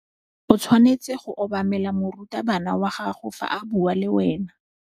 O tshwanetse go obamela morutabana wa gago fa a bua le wena.